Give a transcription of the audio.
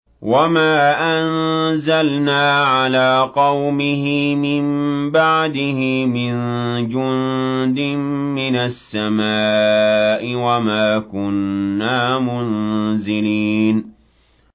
۞ وَمَا أَنزَلْنَا عَلَىٰ قَوْمِهِ مِن بَعْدِهِ مِن جُندٍ مِّنَ السَّمَاءِ وَمَا كُنَّا مُنزِلِينَ